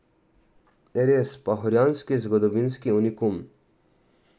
Res, pahorjanski zgodovinski unikum.